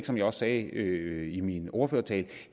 som jeg sagde i min ordførertale